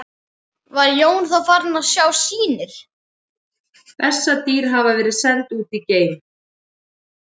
Var Jón þá farinn að sjá sýnir.